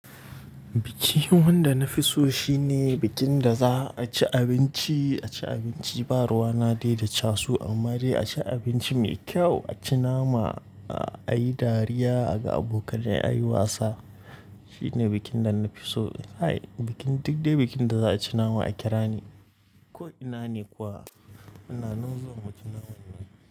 Bikin wanda na fi so shine bikin da za a ci abinci, a ci abinci ba ruwa na dai da casu amma dai a ci abinci mai kyau, a ci nama, a yi dariya, a ga abokanai, a yi wasa. Shine bikin da na fi so. Hai, bikin duk dai bikin da za a ci nama a kira ni ko ina ne kuwa. Ina nan zuwa mu ci naman nan.